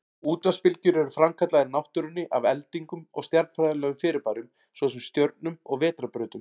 Útvarpsbylgjur eru framkallaðar í náttúrunni af eldingum og stjarnfræðilegum fyrirbærum, svo sem stjörnum og vetrarbrautum.